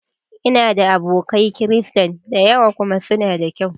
Ina da abokai Kirista da yawa kuma suna da ƙyau